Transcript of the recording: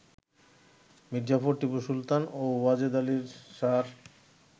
মীরজাফর, টিপু সুলতান ও ওয়াজেদ আলি শাহ র